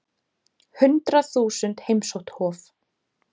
Hundrað þúsund heimsótt Hof